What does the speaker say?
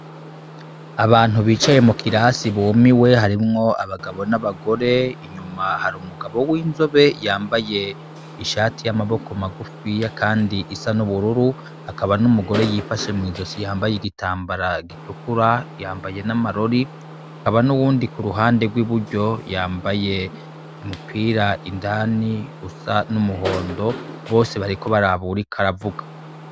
Abantu bicaye mukirasi bumiwe harimwo abagabo n'abagore inyuma hari umugabo winzobe yambaye ishati yamaboko magufiya kandi isa n'ubururu hakaba numugore yifashe mwizosi yambaye igitambara gitukura yambaye n'amarori hakaba n'uwundi kuruhande rwiburyo yambaye umupira indani usa numuhondo bose bariko baraba uwuriko aravuga.